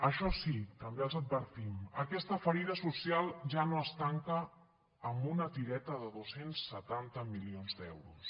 això sí també els advertim aquesta ferida social ja no es tanca amb una tireta de dos cents i setanta milions d’euros